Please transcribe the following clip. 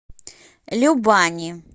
любани